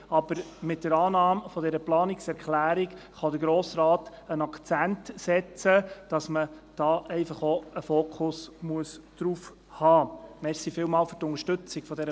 Aber mit der Annahme dieser Planungserklärung kann der Grosse Rat einen Akzent setzen und sagen, dass man hier einen Fokus auf dieses Thema richten muss.